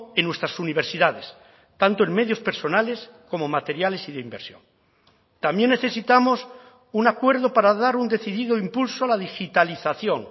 en nuestras universidades tanto en medios personales como materiales y de inversión también necesitamos un acuerdo para dar un decidido impulso a la digitalización